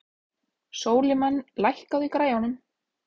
Sólimann, lækkaðu í græjunum.